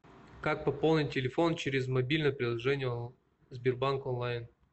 как пополнить телефон через мобильное приложение сбербанк онлайн